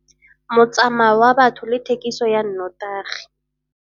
Motsamao wa batho le thekiso ya nnotagi